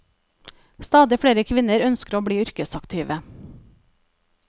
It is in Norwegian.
Stadig flere kvinner ønsker å bli yrkesaktive.